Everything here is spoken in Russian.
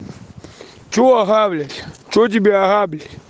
что ага блять что тебя ага блять